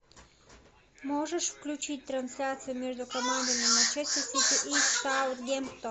можешь включить трансляцию между командами манчестер сити и саутгемптон